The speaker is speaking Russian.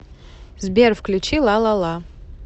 сбер включи лалала